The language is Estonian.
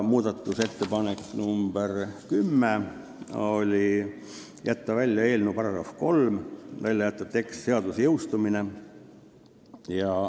Muudatusettepanek nr 10: "jätta välja eelnõu § 3", st jätta välja tekst "seaduse jõustumine".